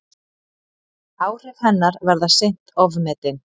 Áhrif hennar verða seint ofmetin.